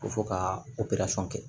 Ko fɔ ka kɛ